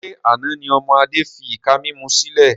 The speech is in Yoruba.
Ṣé àna ni ọmọ Adé fi ìka mímú sílẹ̀?